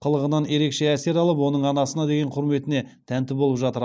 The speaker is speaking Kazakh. қылығынан ерекше әсер алып оның анасына деген құрметіне тәнті болып жатыр